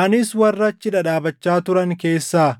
Anis warra achi dhadhaabachaa turan keessaa